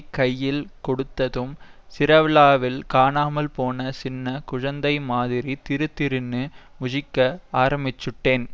கையில் கொடுத்ததும் திருவிழாவில் காணாமல்போன சின்ன குழந்தைமாதிரி திருதிருன்னு முழிக்க ஆரம்பிச்சுட்டேன்